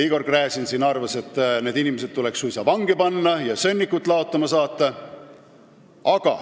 Igor Gräzin arvas, et need inimesed tuleks suisa vangi panna ja sõnnikut laotama saata.